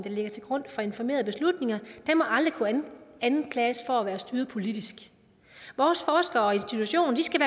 ligger til grund for informerede beslutninger må aldrig kunne anklages for at være styret politisk vores forskere og institutioner skal